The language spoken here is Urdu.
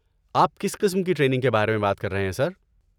آپ کس قسم کی ٹریننگ کے بارے میں بات کر رہے ہیں، سر؟